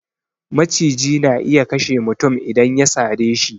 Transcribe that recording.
Maciji na iya kashe mutum idan ya sare shi